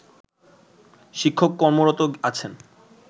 শিক্ষক কর্মরত আছেন